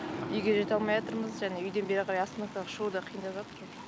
үйге жете алмайатырмыз және үйден бері қарай остановкаға шығу да қиындап жатыр уже